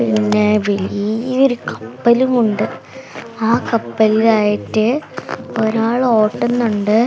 പിന്നെ വലിയ ഒരു കപ്പലും ഉണ്ട് ആ കപ്പലിലായിട്ട് ഒരാൾ ഓട്ടുന്നുണ്ട്.